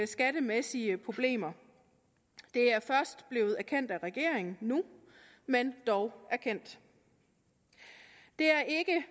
skattemæssige problemer det er først blevet erkendt af regeringen nu men dog erkendt det er